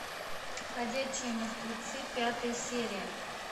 ходячие мертвецы пятая серия